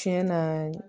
Tiɲɛ na